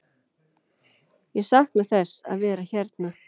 Ég sakna þess að vera hérna.